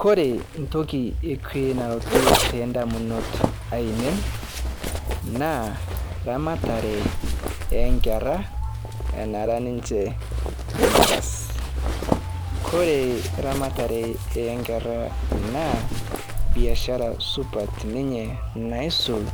Kore ntoki ekwe nalotu tondamunot ainen naa ramatare enkeraa enara ninche ndupas Kore ramatare nkeraa naa biashara supat ninye naisul